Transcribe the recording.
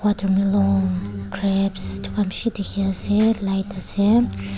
grapes etu khan bishi dikhi ase light ase.